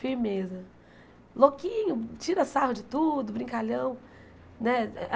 firmeza, louquinho, tira sarro de tudo, brincalhão, né?